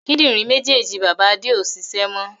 Kíndìnrín méjèèjì bàbá Adé ó ṣiṣẹ́ mọ